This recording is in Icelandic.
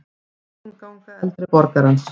Morgunganga eldri borgarans.